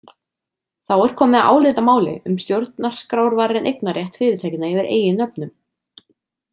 Þá er komið að álitamáli um stjórnarskrárvarinn eignarrétt fyrirtækjanna yfir eigin nöfnum.